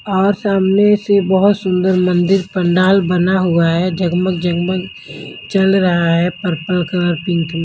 और सामने से बहुत सुंदर मंदिर पंडाल बना हुआ है जग-मग जग-मग चल रहा है पर्पल कलर पिंक --